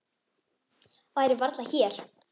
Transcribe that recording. Væri varla hér!